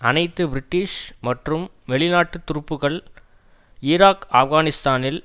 அனைத்து பிரிட்டிஷ் மற்றும் வெளிநாட்டு துருப்புக்கள் ஈராக் ஆப்கானிஸ்தானில்